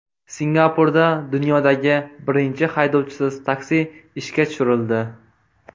Singapurda dunyodagi birinchi haydovchisiz taksi ishga tushirildi.